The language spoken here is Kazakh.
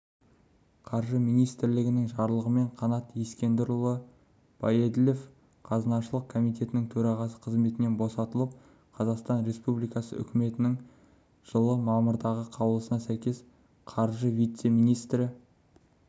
қаржы министрлігінің жарлығымен қанат ескендірұлы баеділов қазынашылық қомитетінің төрағасы қызметінен босатылып қазақстан республикасы үкіметінің жылы мамырдағы қаулысына сәйкес қаржы вице-министрі